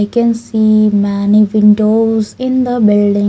We can see many windows in the building.